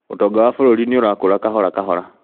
ũtonga wa bũrũri nĩurakũra kahora kahora